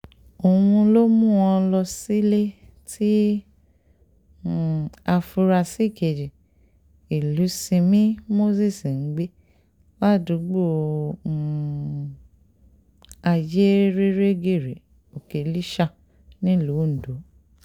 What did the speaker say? òun ló mú wọn lọ sílé tí um àfúrásì kejì ìlúsinmi moses ń gbé ládùúgbò um ayérérégère òkèlíṣà nílùú ondo